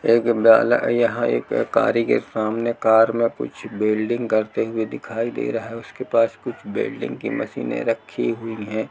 एक है यहाँ एक के काम में कार में कुछ वेल्डिंग करते हुए दिखाई दे रहा है। उसके पास कुछ वेल्डिंग की मशीनें रखी हुई हैं।